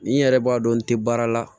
Ni n yɛrɛ b'a dɔn n tɛ baara la